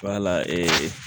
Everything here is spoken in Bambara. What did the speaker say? Wala